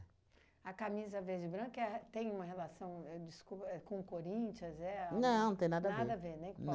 A Camisa Verde e Branca tem uma relação, ahn desculpa, com o Corinthians? É a. Não, não tem nada a ver. Nada a ver, nem com